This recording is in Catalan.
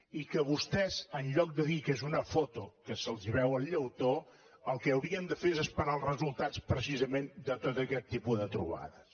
i vostès en lloc de dir que és una foto que se’ls veu el llautó el que haurien de fer és esperar els resultats precisament de tot aquest tipus de trobades